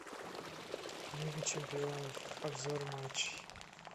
лига чемпионов обзор матчей